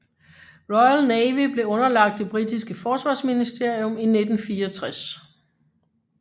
Royal Navy blev underlagt det britiske forsvarsministerium i 1964